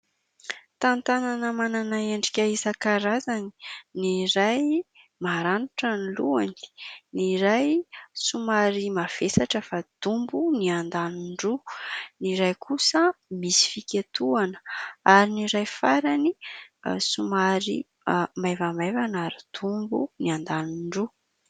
Tantanana manana endrika isan-karazany, ny iray maranitra ny lohany, ny iray somary mavesatra fa dombo ny andaniny roa, ny iray kosa misy fiketohana ary ny iray farany somary maivamaivana ary dombo ny andaniny roa.